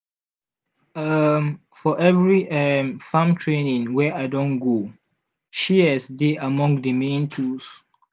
um for every um farm training wey i don go shears dey among the main tools.